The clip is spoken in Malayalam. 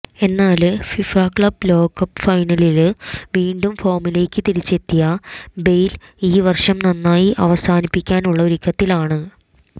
എന്നാല് ഫിഫ ക്ലബ് ലോകകപ്പ് ഫൈനലില് വീണ്ടും ഫോമിലേക്ക് തിരിച്ചെത്തിയ ബെയ്ല് ഈ വര്ഷം നന്നായി അവസാനിപ്പിക്കാനുള്ള ഒരുക്കത്തിലാണ്